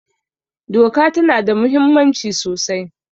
Doka ta na da muhimmanci sosai